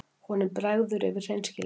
Honum bregður yfir hreinskilninni.